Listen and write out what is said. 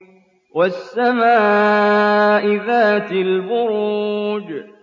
وَالسَّمَاءِ ذَاتِ الْبُرُوجِ